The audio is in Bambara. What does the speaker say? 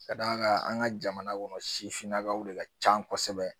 Ka d'a kan an ka jamana kɔnɔ sifinnakaw de ka can kosɛbɛ